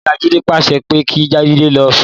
Ìyá Jídé pàsẹ pé kí Jídé lọ sùn.